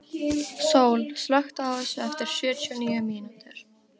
Sól, slökktu á þessu eftir sjötíu og níu mínútur.